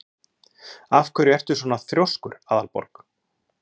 Af hverju ertu svona þrjóskur, Aðalborg?